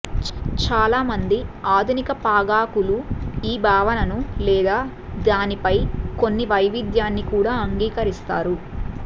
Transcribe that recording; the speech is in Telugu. చాలామంది ఆధునిక పాగాకులు ఈ భావనను లేదా దానిపై కొన్ని వైవిధ్యాన్ని కూడా అంగీకరిస్తారు